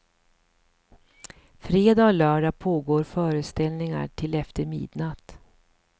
Fredag och lördag pågår föreställningar till efter midnatt.